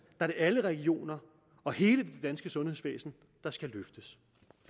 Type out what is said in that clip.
er det alle regioner og hele det danske sundhedsvæsen der skal løftes